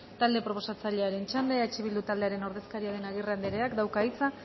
talde proposatzailearen txanda eh bildu taldearen ordezkaria den agirre andereak dauka hitza